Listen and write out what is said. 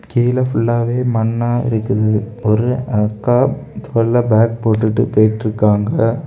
கீழ ஃபுல்லாவே மண்ணா இருக்குது ஒரு அக்கா தோள்ல பேக் போட்டுட்டு போயிட்டு இருக்காங்க.